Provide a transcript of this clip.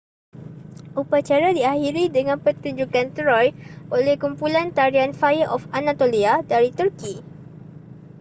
upacara diakhiri dengan pertunjukan troy oleh kumpulan tarian fire of anatolia dari turki